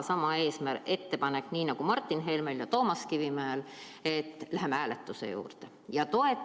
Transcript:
Mul on ka sama ettepanek, mis Martin Helmel ja Toomas Kivimäel: läheme hääletuse juurde!